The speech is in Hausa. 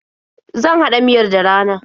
Zan haɗa miyar da rana.